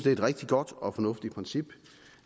er et rigtig godt og fornuftigt princip